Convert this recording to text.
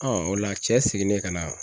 o la cɛ seginnen ka na